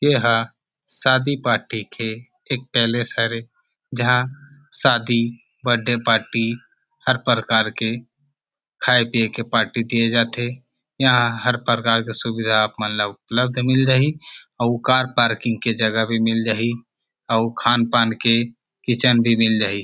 एह शादी पार्टी के एक पैलेस हरे जहां शादी बर्थडे पार्टी हर प्रकार के खाय पिए के पार्टी दिए जात थे यहां हर प्रकार के सुविधा अपन ला उपलब्ध मिल जही अउ कार पार्किंग के जगह भी मिल जही अउ खान पान के किचन भी मील जही।